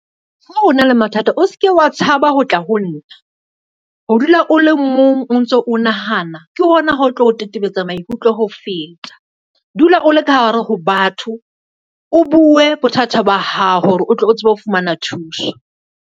Ha ona le mathata o ske wa tshaba ho tla ho nna, ho dula o le mong o ntso o nahana ke hona ho tlo o tetebetsa maikutlo ho feta. Dula o le ka hare ho batho, o bue bothata ba hao hore o tle o tsebe ho fumana thuso.